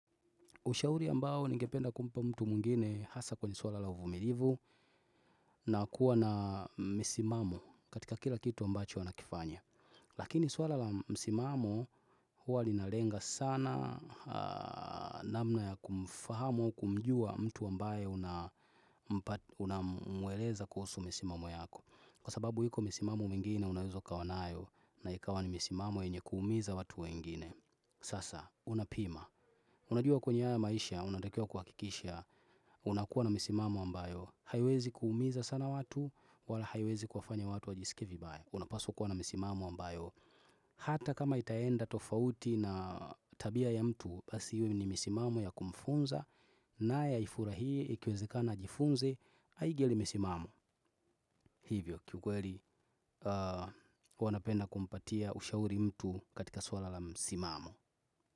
Ushauri ambao ngependa kumpa mtu mwingine hasa kwenye swala la uvumilivu na kuwa na misimamo katika kila kitu ambacho anakifanya. Lakini swala la misimamo huwa linalenga sana namna ya kumfahamu kumjua mtu ambaye unamweleza kuhusu misimamo yako. Kwa sababu hiko misimamo mingine unaweza ukawa nayo na ikawa ni misimamo yenye kuumiza watu wengine. Sasa, unapima Unajua kwenye haya maisha, unatakiwa kuhakikisha Unakuwa na misimamo ambayo haiwezi kuumiza sana watu wala haiwezi kuwanya watu wajisikie vibaya unapaswa kuwa na misimamo ambayo Hata kama itaenda tofauti na tabia ya mtu Basi iwe ni misimamo ya kumfunza naye ifurahie, ikiwezekana ajifunze Hainge limesimama Hivyo, kiukweli wanapenda kumpatia ushauri mtu katika swala la misimamo.